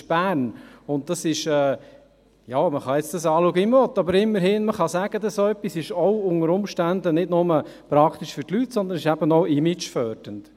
Man kann es anschauen wie man will, aber man kann immerhin sagen, dass es unter Umständen nicht nur praktisch für die Leute ist, sondern auch imagefördernd.